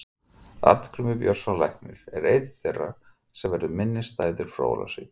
Arngrímur Björnsson læknir er einn þeirra sem verður minnisstæður frá Ólafsvík.